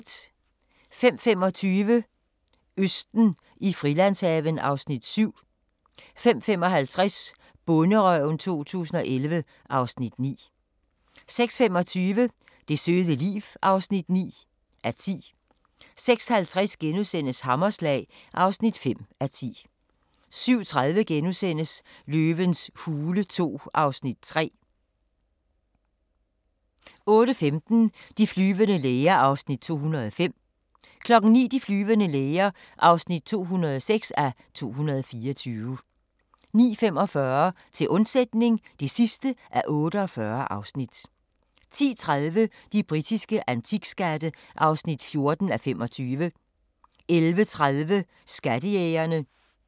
05:25: Østen i Frilandshaven (Afs. 7) 05:55: Bonderøven 2011 (Afs. 9) 06:25: Det søde liv (9:10) 06:50: Hammerslag (5:10)* 07:30: Løvens hule II (Afs. 3)* 08:15: De flyvende læger (205:224) 09:00: De flyvende læger (206:224) 09:45: Til undsætning (48:48) 10:30: De britiske antikskatte (14:25) 11:30: Skattejægerne